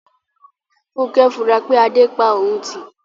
Funkẹ́ ń fura pé Adé pa òun tì